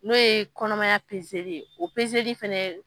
N'o ye kɔnɔmaya li ye, o li fɛnɛ